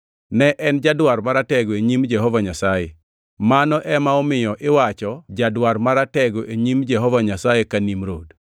Ne en jadwar maratego e nyim Jehova Nyasaye. Mano ema omiyo iwacho “Jadwar maratego e nyim Jehova Nyasaye ka Nimrod.”